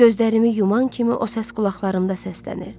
Gözlərimi yuman kimi o səs qulaqlarımda səslənir.